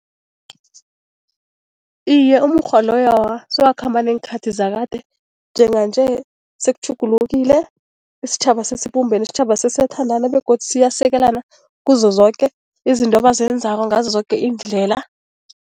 Iye, umukghwa loyo awa sewakhamba neenkhathi zakade, njenganje sekutjhugulukile isitjhaba sesibumbene isitjhaba sesiyathandana begodu siyasekelana kuzo zoke izinto abazenzako ngazo zoke iindlela.